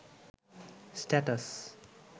status